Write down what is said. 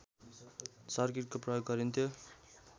सर्किटको प्रयोग गरिन्थ्यो